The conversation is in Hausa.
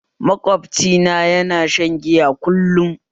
Makwabci na yana shan giya kullum